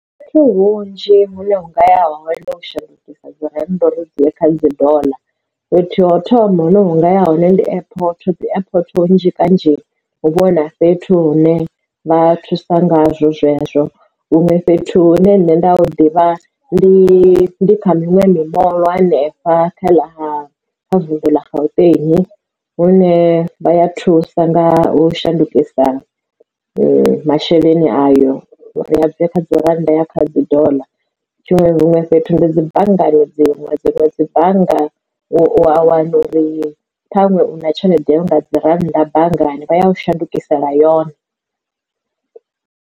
Fhethu hunzhi hune ungaya hone ndi u shandukisa dzi rannda uri dzuye kha dzi dollar fhethu ho thoma hu no unga ya hone ndi airport dzi airport hunzhi kanzhi hu vhona fhethu hune vha thusa ngazwo zwezwo huṅwe fhethu hune nṋe nda ḓivha ndi kha miṅwe mimoḽo hanefha kha vunḓu la Gauteng, hune vha ya thusa nga u shandukisa masheleni ayo ri a dzi kha dzi rannda ya kha dzi dollar tshiṅwe huṅwe fhethu ndo dzi banngani dziṅwe dziṅwe dzi bannga u a wana uri ṱhaṅwe una tshelede yo nga dzi rannda banngani vha ya u shandukisela yone.